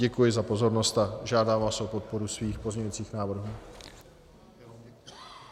Děkuji za pozornost a žádám vás o podporu svých pozměňujících návrhů.